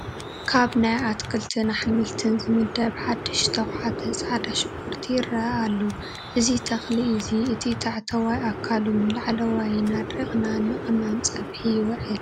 ካብ ናይ ኣትክልትን ኣሕምልትን ዝምደብ ሓዱሽ ዝተዃዕተ ፃዕዳ ሽጉርቲ ይረአ ኣሎ፡፡ እዚ ተኽሊ እዚ እቲ ታሕተዋይ ኣካሉን ላዕለዋይን ኣድሪቕና ንቐመም ፀብሒ ይውዕል፡፡